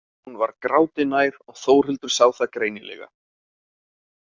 Hún var gráti nær og Þórhildur sá það greinilega.